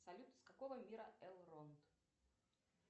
салют из какого мира элронт